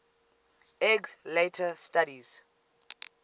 eggs later studies